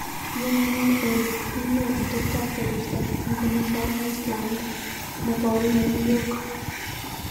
Yamunee Olly, une ateptap korista eng olin pa Island nekoi New York?